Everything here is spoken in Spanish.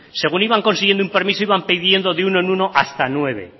según iban consiguiendo un permiso iban pidiendo de uno en uno hasta nueve